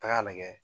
Taga lajɛ